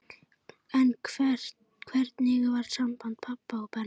En hvernig var samband pabba og Benna?